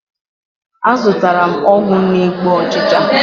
Azụtara m ọgwụ na-egbu ụchịcha.